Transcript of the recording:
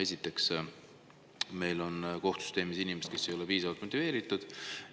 Esiteks, meil on kohtusüsteemis inimesed, kes ei ole piisavalt motiveeritud.